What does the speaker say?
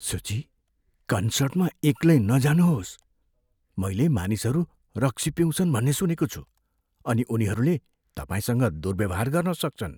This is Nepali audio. सुची। कन्सर्टमा एक्लै नजाउनुहोस्। मैले मानिसहरू रक्सी पिउँछन् भन्ने सुनेको छु अनि उनीहरूले तपाईँसँग दुर्व्यवहार गर्न सक्छन्।